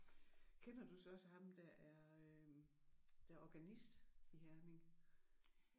Kender du så også ham der er øh der er organist i Herning?